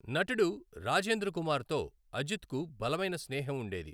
నటుడు రాజేంద్ర కుమార్ తో అజిత్కు బలమైన స్నేహం ఉండేది.